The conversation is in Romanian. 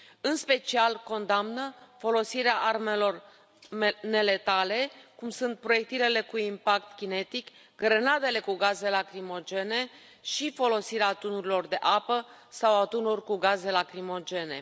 În special, condamnă folosirea armelor neletale, cum sunt proiectilele cu impact cinetic, grenadele cu gaze lacrimogene și folosirea tunurilor de apă sau a tunurilor cu gaze lacrimogene.